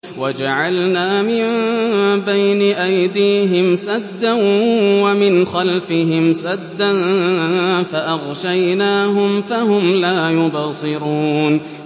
وَجَعَلْنَا مِن بَيْنِ أَيْدِيهِمْ سَدًّا وَمِنْ خَلْفِهِمْ سَدًّا فَأَغْشَيْنَاهُمْ فَهُمْ لَا يُبْصِرُونَ